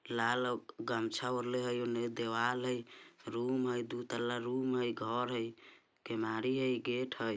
लाल ओ गमछा ओढ़ले हई ओने दीवाल हई रूम हई दु तल्ला रूम हई घर हई केमारी हई गेट हई।